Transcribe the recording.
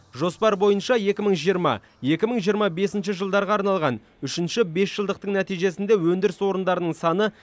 жоспар бойынша екі мың жиырма екі мың жиырма бесінші жылдарға арналған үшінші бесжылдықтың нәтижесінде өндіріс орындарының саны